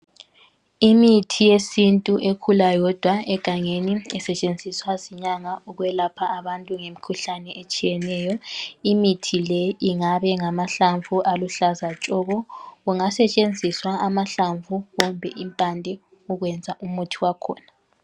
Imithi yesintu ekhula yodwa egangeni esetshenziswa zinyanga ukwelapha abantu ngemikhuhlane etshiyeneyo. Imithi le ingabe ngamahlamvu aluhlaza tshoko. Kungasetshenziswa amahlamvu kumbe impande kwenza umuthi wakhona.